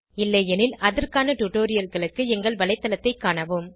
இல்லையெனில் அதற்கான டுடோரியல்களுக்கு எங்கள் வலைத்தளத்தைக் காணவும்